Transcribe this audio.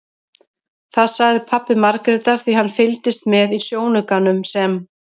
Það sagði pabbi Margrétar því hann fylgdist með í sjónaukanum sem